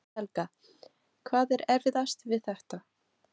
Helga: Hvað er erfiðast við þetta?